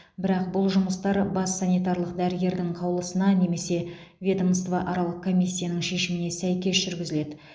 бірақ бұл жұмыстар бас санитарлық дәрігердің қаулысына немесе ведомствоаралық комиссияның шешіміне сәйкес жүргізіледі